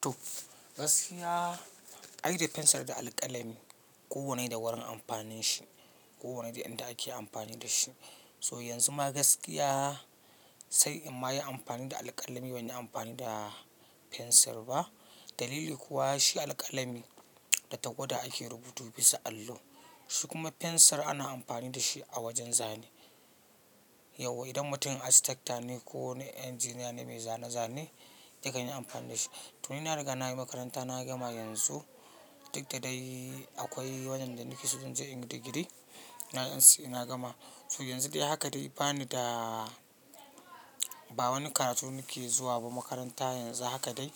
To gaskiya, ai da fensir da alƙalami kowanne da wurin amfanin shi. Kowanne da inda ake amfani da shi. So yanzu ma gaskiya sai in ma yi amfani da alƙalami ban yi amfani da fensir ba. Dalili kuwa shi alƙalami da tawada ake rubutu bisa allo. Shi kuma fensir ana amfani da shi a wajen zane. Yauwa idan mutum architect ne ko wani engineer ne mai zane-zane yakan yi amfani da shi. To ni na riga na yi makaranta na gama yanzu. Duk da dai akwai wajen da nake so zan je in yi digiri, na yi NCE na gama. So yanzu dai haka dai bani da ba wani karatu nake zuwa ba makaranta yanzu haka dai